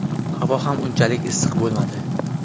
Havo ham unchalik issiq bo‘lmadi.